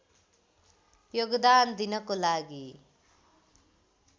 योगदान दिनको लागि